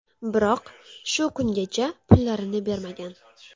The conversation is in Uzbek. Biroq, shu kungacha pullarini bermagan.